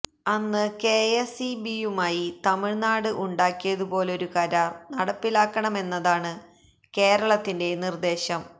അന്ന് K S E ബിയുമായി Tamil Nadu ഉണ്ടാക്കിയതുപോലുള്ള കരാര് നടപ്പിലാക്കണമെന്നതാണ് കേരളത്തിന്റെ നിര്ദേശം